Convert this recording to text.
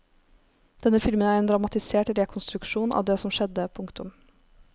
Denne filmen er en dramatisert rekonstruksjon av det som skjedde. punktum